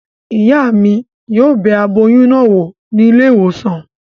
Ìyá mi yóò bẹ aboyún náà wò ní ilé ìwòsàn